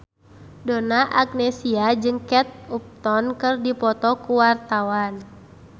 Donna Agnesia jeung Kate Upton keur dipoto ku wartawan